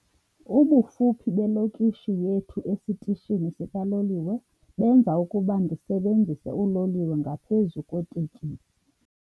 Ubufuphi belokishi yethu esitishini sikaloliwe benza ukuba ndisebenzise uloliwe ngaphezu kweeteksi.